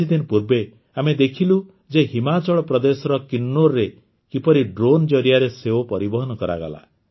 କିଛିଦିନ ପୂର୍ବେ ଆମେ ଦେଖିଲୁ ଯେ ହିମାଚଳ ପ୍ରଦେଶର କିନ୍ନୌରରେ କିପରି ଡ୍ରୋନ୍ ଜରିଆରେ ସେଓ ପରିବହନ କରାଗଲା